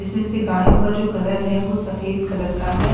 जिसमें से गाढ़ियों का जो कलर है वो सफेद कलर का है --